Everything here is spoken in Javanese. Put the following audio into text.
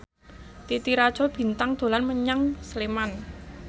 Titi Rajo Bintang dolan menyang Sleman